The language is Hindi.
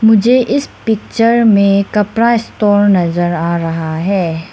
मुझे इस पिक्चर में कपड़ा स्टोर नजर आ रहा है।